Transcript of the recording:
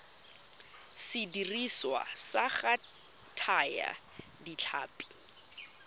sediriswa sa go thaya ditlhapi